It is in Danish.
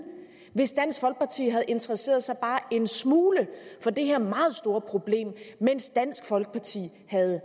hvis dansk folkeparti havde interesseret sig bare en smule for det her meget store problem mens dansk folkeparti havde